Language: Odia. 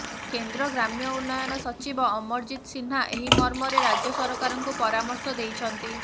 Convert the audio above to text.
କେନ୍ଦ୍ର ଗ୍ରାମ୍ୟ ଉନ୍ନୟନ ସଚିବ ଅମରଜିତ ସିହ୍ନା ଏହି ମର୍ମରେ ରାଜ୍ୟ ସରକାରଙ୍କୁ ପରମର୍ଶ ଦେଇଛନ୍ତି